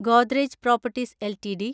Godrej properties LTD